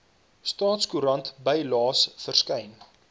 staatskoerant bylaes verskyn